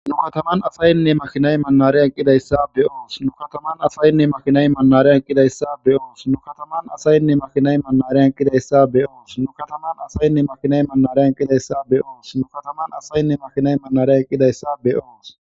nu kataman asayinne makhinay mannare eqqidayssa be oos nu kataman asayinne makhinay mannare eqqidayssa be oos nu kataman asayinne makhinay mannare eqqidayssa be oos nu kataman asayinne makhinay mannare eqqidayssa be oos nu kataman asayinne makhinay mannare eqqidayssa be oos